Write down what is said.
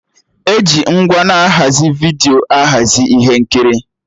E ji ngwa na-ahazi vidiyo ahazi ihe nkiri